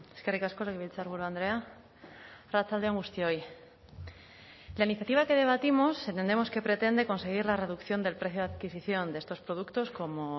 eskerrik asko legebiltzarburu andrea arratsalde on guztioi la iniciativa que debatimos entendemos que pretende conseguir la reducción del precio de adquisición de estos productos como